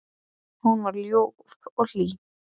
Hún var ljúf og hlý.